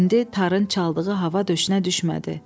İndi tarın çaldığı hava döşünə düşmədi.